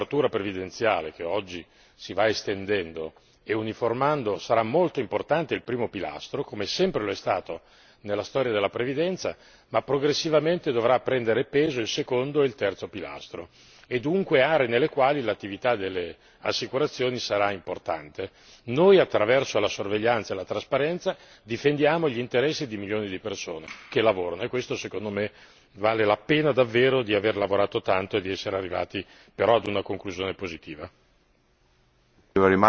Nel sistema della copertura previdenziale che oggi si va estendendo e uniformando, sarà molto importante il primo pilastro, come sempre lo è stato nella storia della previdenza, ma progressivamente dovrà prendere peso il secondo e il terzo pilastro e dunque aree nelle quali l'attività delle assicurazioni sarà importante. Noi, attraverso la sorveglianza e la trasparenza, difendiamo gli interessi di milioni di persone che lavorano e questo secondo me, vale la pena davvero di aver lavorato tanto e di essere arrivati però a una conclusione positiva.